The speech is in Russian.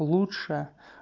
лучше